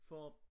For